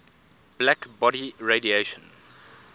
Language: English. black body radiation